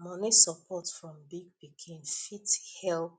money support from big pikin fit helep